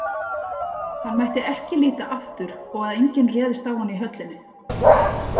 Hann mætti ekki líta aftur og að enginn réðist á hann í höllinni.